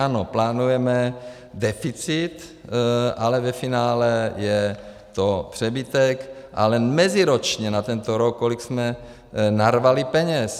Ano, plánujeme deficit, ale ve finále je to přebytek, ale meziročně na tento rok kolik jsme narvali peněz.